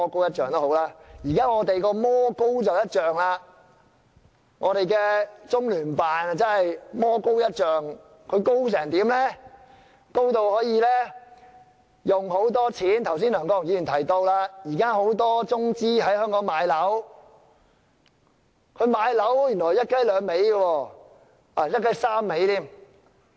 現在的情況是魔高一丈，我們的中聯辦真的是魔高一丈，高至他們可以花很多金錢，剛才梁國雄議員也提到，現時很多中資在香港買樓，原來他們買樓是"一雞兩味"，甚至是"一雞三味"。